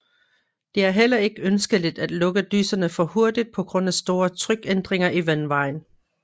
Det er heller ikke ønskeligt at lukke dyserne for hurtig på grund af store trykændringer i vandvejen